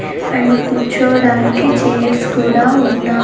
and కూర్చోవడానికి chairs కూడా ఉన్నా--